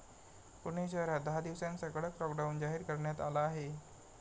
पुणे शहरात दहा दिवसांचा कडक लॉकडाऊन जाहीर करण्यात आला आहे.